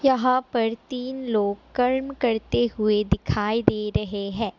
यहाँ पर तीन लोग कर्म करते हुए दिखाई दे रहे है।